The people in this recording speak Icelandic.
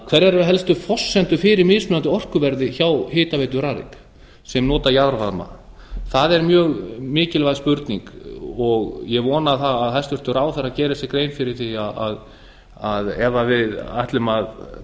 hverjar eru helstu forsendur fyrir mismunandi orkuverði hjá hitaveitum rarik sem nota jarðvarma það er mjög mikilvæg spurning og ég vona að hæstvirtur ráðherra geri sér grein fyrir því að ef við ætlum að